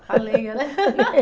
A lenha, né?